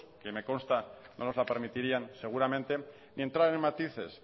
ue me consta que no nos la permitirían seguramente ni entrar en matices